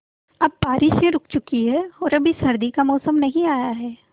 अब बारिशें रुक चुकी हैं और अभी सर्दी का मौसम नहीं आया है